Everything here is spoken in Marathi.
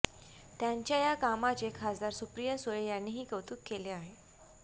त्यांच्या या कामाचे खासदार सुप्रिया सुळे यांनीही कौतुक केले आहे